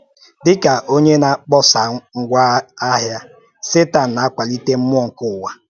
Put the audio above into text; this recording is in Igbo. Dị ka onye na-akpọsa ngwá ahịa, Sẹtan na-akwalite mmụọ nke ụwa.